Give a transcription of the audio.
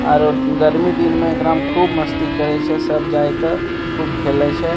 आरो गर्मी दिन में एकरा में खूब मस्ती करे छै सब जाय के खूब खेले छै।